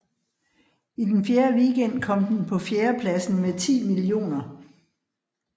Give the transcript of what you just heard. I den fjerde weekend kom den på fjerdepladsen med 10 mio